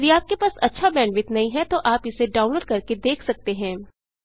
यदि आपके पास अच्छा बैंडविड्थ नहीं है तो आप इसे डाउनलोड करके देख सकते हैं